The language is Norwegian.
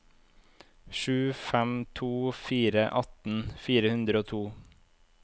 sju fem to fire atten fire hundre og to